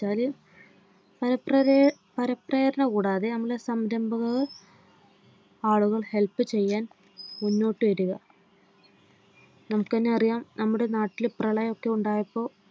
ഫലപ്രേഫലപ്രേരണ കൂടാതെ നമ്മുടെ സംരംഭവും ആളുകൾ Help ചെയ്യാൻ മുന്നോട്ടു വരുക. നമുക്കെന്നെ അറിയാം നമ്മുടെ നാട്ടിൽ പ്രളയം ഒക്കെ ഉണ്ടായപ്പോൾ.